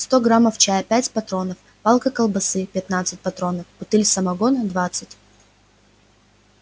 сто граммов чая пять патронов палка колбасы пятнадцать патронов бутыль самогона двадцать